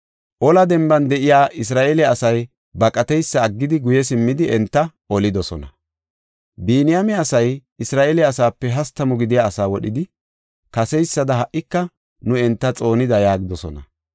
Ola denban de7iya Isra7eele asay baqateysa aggidi, guye simmidi, enta olidosona. Biniyaame asay Isra7eele asaape hastamu gidiya asaa wodhidi, “Kaseysada ha77ika nu enta xoonida” yaagidosona.